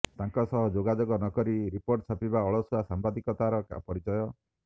ତାଙ୍କ ସହ ଯୋଗାଯୋଗ ନ କରି ରିପୋର୍ଟ ଛାପିବା ଅଳସୁଆ ସାମ୍ବାଦିକତାର ପରିଚୟ